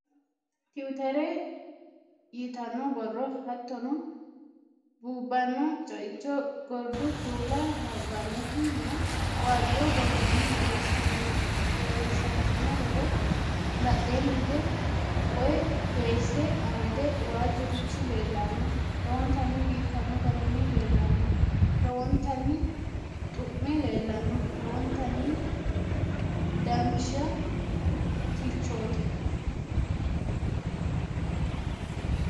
Tiwuuteri yitanno borro: Hattono buubbanno Ceicho Gordu kuula labbannoti nna waajjo borronni borreessantino borro : Badheenni hige woy doyisse amade waajjurichi leellanno lowontanni biifanno garinni leellanno lowontanni xu'me leellanno lowontanni danchatichooti.